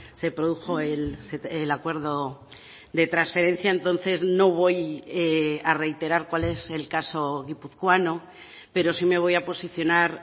se produjo el acuerdo de transferencia entonces no voy a reiterar cuál es el caso guipuzcoano pero sí me voy a posicionar